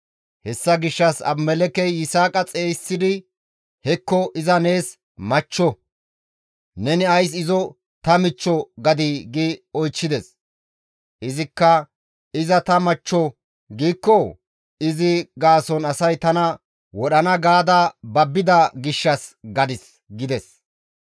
Hessa gishshas Abimelekkey Yisaaqa xeygisidi, «Hekko iza nees machcho! Neni ays izo ta michcho gadii?» gi oychchides. Izikka, «Iza ta machcho giikko izi gaason asay tana wodhana gaada babbida gishshas gadis» gides.